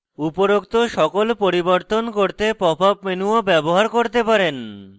উপরোক্ত সকল পরিবর্তন করতে pop up menu do ব্যবহার করতে পারেন